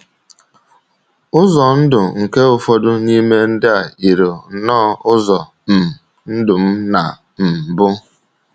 Ụzọ ndụ nke ụfọdụ n’ime ndị a yìrì nnọọ ụzọ um ndụ m ná um mbụ.